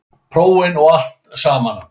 Prófin og allt samana.